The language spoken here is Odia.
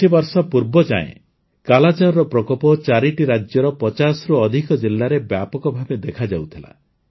କିଛିବର୍ଷ ପୂର୍ବ ଯାଏଁ କାଲାଜାରର ପ୍ରକୋପ ୪ଟି ରାଜ୍ୟର ୫୦ରୁ ଅଧିକ ଜିଲ୍ଲାରେ ବ୍ୟାପକ ଭାବେ ଦେଖାଯାଉଥିଲା